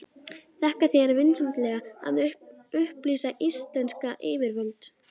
Þakka þér vinsemdina að upplýsa íslensk yfirvöld.